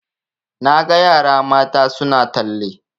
Na ga yara mata suna talle